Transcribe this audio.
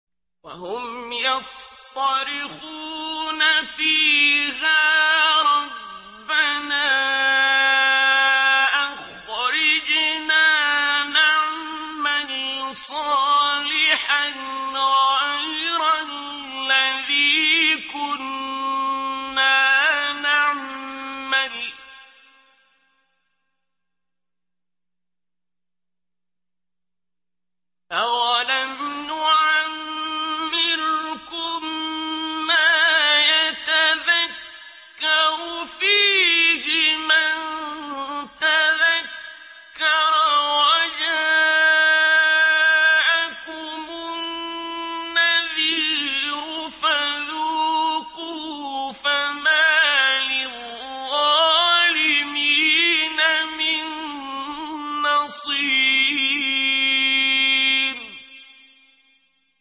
وَهُمْ يَصْطَرِخُونَ فِيهَا رَبَّنَا أَخْرِجْنَا نَعْمَلْ صَالِحًا غَيْرَ الَّذِي كُنَّا نَعْمَلُ ۚ أَوَلَمْ نُعَمِّرْكُم مَّا يَتَذَكَّرُ فِيهِ مَن تَذَكَّرَ وَجَاءَكُمُ النَّذِيرُ ۖ فَذُوقُوا فَمَا لِلظَّالِمِينَ مِن نَّصِيرٍ